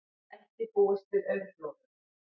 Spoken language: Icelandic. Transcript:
Ekki búist við aurflóðum